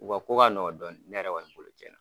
U ka ko ka nɔgɔ dɔɔni ne yɛrɛ kɔni bolo cɛn na.